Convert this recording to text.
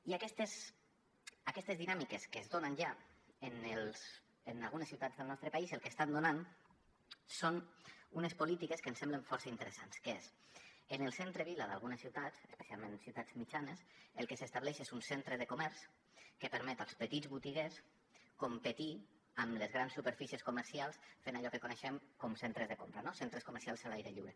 i aquestes dinàmiques que es donen ja en algunes ciutats del nostre país el que estan donant són unes polítiques que ens semblen força interessants que és en el centre vila d’algunes ciutats especialment en ciutats mitjanes el que s’estableix és un centre de comerç que permet als petits botiguers competir amb les grans superfícies comercials fent allò que coneixem com centres de compra no centres comercials a l’aire lliure